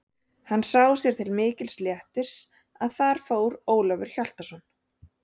Hann sá sér til mikils léttis að þar fór Ólafur Hjaltason.